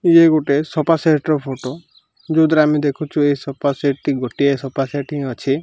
ଇଏ ଗୋଟେ sofa set ର ଫୋଟୋ ଯୋଉଥିରେ ଆମେ ଦେଖୁଛୁ ଏ ସୋଫା ସେଟ୍ ଟି ଗୋଟିଏ ସୋଫା ସେଟ୍ ହିଁ ଅଛି।